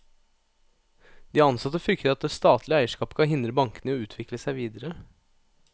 De ansatte frykter at det statlige eierskapet kan hindre bankene i å utvikle seg videre.